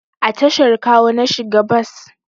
A tashar Kawo na shiga bas